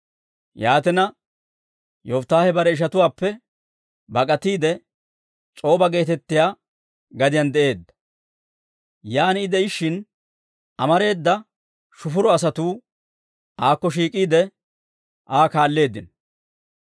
Yaatina, Yofittaahe bare ishatuwaappe bak'atiide, S'oba geetettiyaa gadiyaan de'eedda. Yan I de'ishshin, amareeda shufuro asatuu aakko shiik'iide, Aa kaalleeddino.